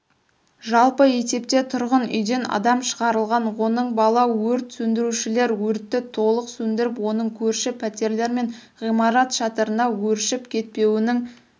жалпы есепте тұрғын үйден адам шығарылған оның бала өрт сөндірушілер өртті толық сөндіріп оның көрші пәтерлер мен ғимарат шатырына өршіп кетпеуінің